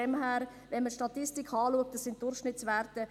Wenn man Statistiken betrachtet, handelt es sich um Durchschnittswerte.